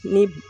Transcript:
Ni